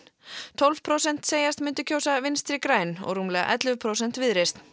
tólf prósent segjast myndu kjósa Vinstri græn og rúmlega ellefu prósent Viðreisn